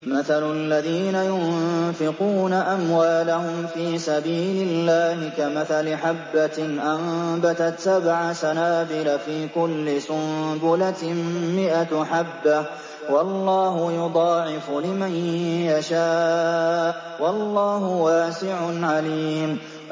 مَّثَلُ الَّذِينَ يُنفِقُونَ أَمْوَالَهُمْ فِي سَبِيلِ اللَّهِ كَمَثَلِ حَبَّةٍ أَنبَتَتْ سَبْعَ سَنَابِلَ فِي كُلِّ سُنبُلَةٍ مِّائَةُ حَبَّةٍ ۗ وَاللَّهُ يُضَاعِفُ لِمَن يَشَاءُ ۗ وَاللَّهُ وَاسِعٌ عَلِيمٌ